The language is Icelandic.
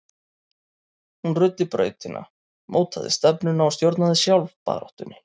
Hún ruddi brautina, mótaði stefnuna og stjórnaði sjálf baráttunni.